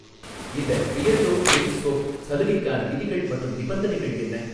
இந்த Beardo brick soap சலுகைக்கான விதிகள் மற்றும் நிபந்தனைகள் என்ன?